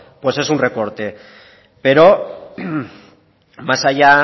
pues es un recorte pero más allá